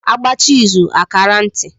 A gbachaa izù a kaara ntị.